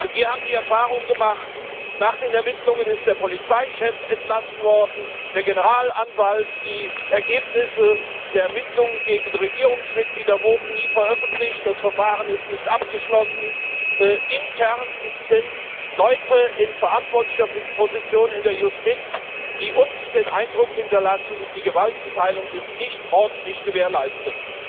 Wir haben die Erfahrung gemacht Nach den Ermittlungen ist der Polizeichef entlassen worden, der Generalanwalt, die Ergebnisse der Ermittlungen gegen Regierungsmitglieder wurden nie veröffentlicht, das Verfahren ist nicht abgeschlossen, intern sind Leute in verantwortlicher Position in der Justiz, die uns den Eindruck hinterlassen Die Gewaltenteilung ist nicht ordentlich gewährleistet.